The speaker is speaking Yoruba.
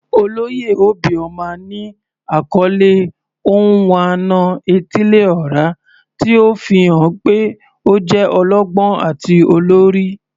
Oloye obioma ni akọle "Onwa-na-etili-ora," ti o fihan pe o jẹ ọlọgbọn ati olori.